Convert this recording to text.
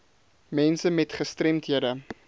mense met gestremdhede